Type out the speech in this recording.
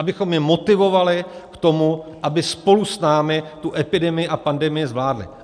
Abychom je motivovali k tomu, aby spolu s námi tu epidemii a pandemii zvládli.